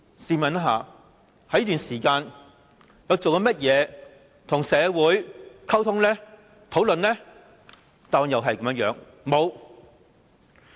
試問她在這段時間內，做過些甚麼跟社會溝通和討論呢？